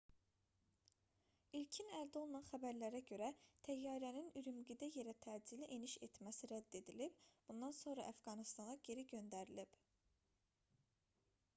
i̇lkin əldə olunan xəbərlərə görə təyyarənin ürümqidə yerə təcili eniş etməsi rədd edilib bundan sonra əfqanıstana geri göndərilib